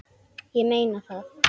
Ég meina það!